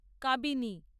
Kabini